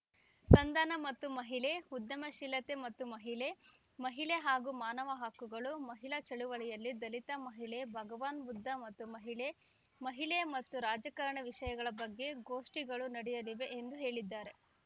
ಸಂಧಾನ ಮತ್ತು ಮಹಿಳೆ ಉದ್ಯಮಶೀಲತೆ ಮತ್ತು ಮಹಿಳೆ ಮಹಿಳೆ ಹಾಗೂ ಮಾನವ ಹಕ್ಕುಗಳು ಮಹಿಳಾ ಚಳವಳಿಯಲ್ಲಿ ದಲಿತ ಮಹಿಳೆ ಭಗವಾನ್‌ ಬುದ್ಧ ಮತ್ತು ಮಹಿಳೆ ಮಹಿಳೆ ಮತ್ತು ರಾಜಕಾರಣ ವಿಷಯಗಳ ಬಗ್ಗೆ ಗೋಷ್ಠಿಗಳು ನಡೆಯಲಿದೆ ಎಂದು ಹೇಳಿದ್ದಾರೆ